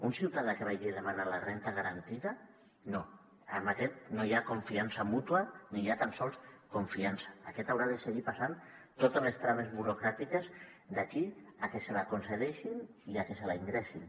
un ciutadà que vagi a demanar la renda garantida no amb aquest no hi ha confiança mútua ni hi ha tan sols confiança aquest haurà de seguir passant totes les traves burocràtiques d’aquí a que la hi concedeixin i a que la hi ingressin